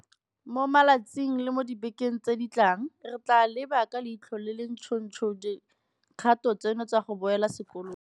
Mo matsatsing le mo dibekeng tse di tlang, re tla leba ka leitlho le le ntšhotšho dikgato tseno tsa go boela sekolong.